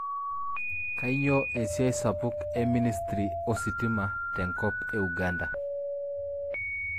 Kanyioo esiai sapuk e ministry ositima te enkop e Uganda?